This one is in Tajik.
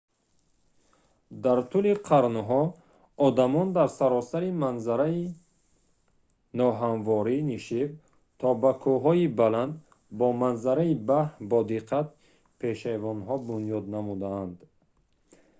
дар тӯли қарнҳо одамон дар саросари манзараи ноҳамвори нишеб то ба кӯҳҳои баланд бо манзараи баҳр бодиққат пешайвонҳо бунёд намуданд